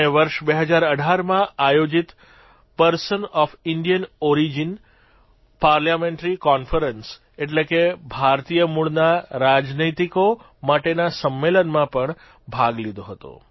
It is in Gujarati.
અને વર્ષ 2018માં આયોજીત person of Indian origin PIO parliamentary conference એટલે કે ભારતીય મૂળના રાજનૈતિકો માટેના સંમેલનમાં પણ ભાગ લીધો હતો